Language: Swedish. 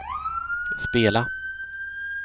spela